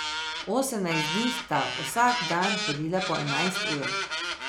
Osemnajst dni sta vsak dan hodila po enajst ur.